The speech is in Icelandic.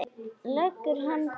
Leggur hönd að kinn.